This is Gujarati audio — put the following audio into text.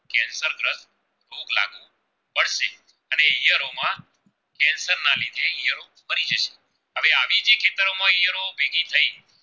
તો ભેગી થઈ